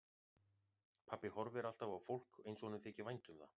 Pabbi horfir alltaf á fólk eins og honum þyki vænt um það.